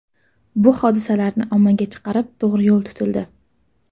Bu hodisalarni ommaga chiqarib to‘g‘ri yo‘l tutildi.